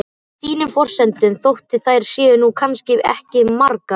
Á sínum forsendum, þótt þær séu nú kannski ekki margar.